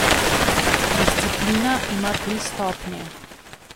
Disciplina ima tri stopnje.